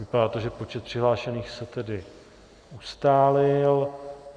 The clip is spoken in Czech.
Vypadá to, že počet přihlášených se tedy ustálil.